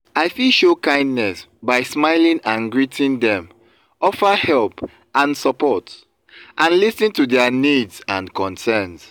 i fit show kindness by smiling and greeting dem offer help and support and lis ten to their needs and concerns.